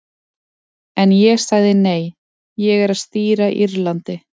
En ég sagði nei, ég er að stýra Írlandi.